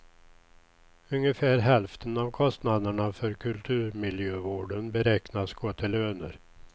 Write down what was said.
Ungefär hälften av kostnaderna för kulturmiljövården beräknas gå till löner.